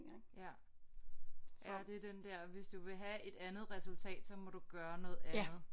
Ja ja det er den der hvis du vil have et andet resultat så må du gøre noget andet